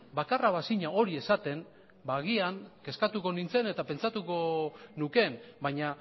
hori esaten b agian kezkatuko nintzen eta pentsatuko nuke baina